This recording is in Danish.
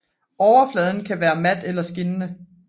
Overfladen kan være mat eller skinnende